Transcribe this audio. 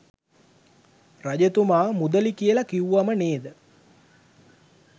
රජතුමා මුදළි කියල කිව්වම නේද?